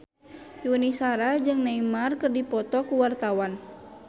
Yuni Shara jeung Neymar keur dipoto ku wartawan